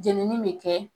Jenini bɛ kɛ